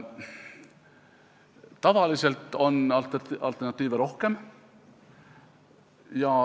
Tavaliselt on alternatiive rohkem.